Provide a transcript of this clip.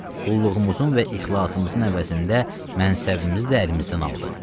Qulluğumuzun və ixlasımızın əvəzində mənsəbimiz də əlimizdən aldı.